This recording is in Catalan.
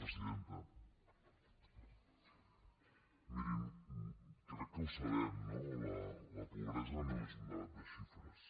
mirin crec que ho sabem no la pobresa no és un debat de xifres